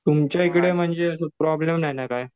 तुमच्या इकडे म्हणजे प्रॉब्लेम नाही ना काय?